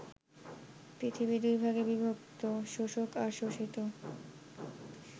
পৃথিবী দুই ভাগে বিভক্ত শোষক আর শোষিত।